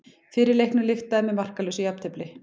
Fyrri leiknum lyktaði með markalausu jafntefli